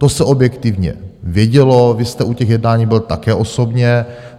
To se objektivně vědělo, vy jste u těch jednání byl také osobně.